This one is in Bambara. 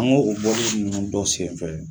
An k'o bɔli ninnu dɔ senfɛ